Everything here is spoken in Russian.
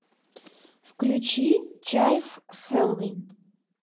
включи чайф хэллоуин